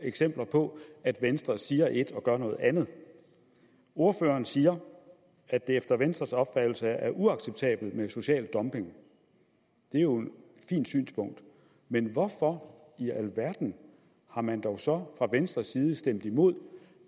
eksempler på at venstre siger et og gør noget andet ordføreren siger at det efter venstres opfattelse er uacceptabelt med social dumping det er jo et fint synspunkt men hvorfor i alverden har man dog så fra venstres side stemt imod